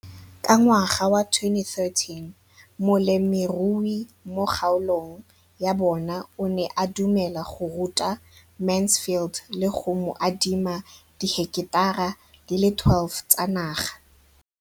Ka ngwaga wa 2013, molemirui mo kgaolong ya bona o ne a dumela go ruta Mansfield le go mo adima di heketara di le 12 tsa naga.